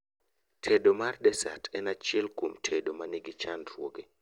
Tedo mar desat en achiel kuom tedo manigi chandruoge